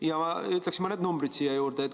Ja ma ütleksin mõned numbrid siia juurde.